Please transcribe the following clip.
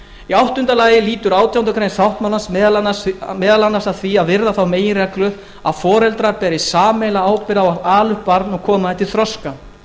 í áttunda lagi lýtur átjándu grein sáttmálans meðal annars að því að virða þá meginreglu að foreldrar beri sameiginlega ábyrgð á að ala upp barn og koma því til þroska